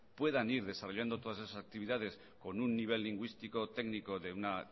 puedan ir desarrollando todas esas actividades con un nivel lingüístico técnico de una